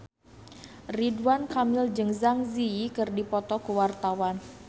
Ridwan Kamil jeung Zang Zi Yi keur dipoto ku wartawan